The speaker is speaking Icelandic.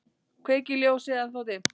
Kveiki ljósið, ennþá dimmt.